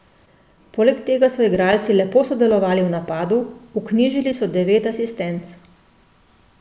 Poleg tega so igralci lepo sodelovali v napadu, vknjižili so devet asistenc.